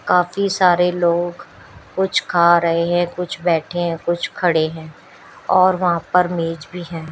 काफी सारे लोग कुछ खा रहे हैं कुछ बैठे हैं कुछ खड़े है और वहां पर मेज भी है।